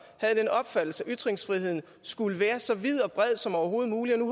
havde den opfattelse at ytringsfriheden skulle være så vid og bred som overhovedet muligt og nu